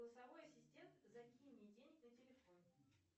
голосовой ассистент закинь мне денег на телефон